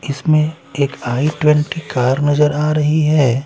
इसमें एक I twenty car नजर आ रही हैं।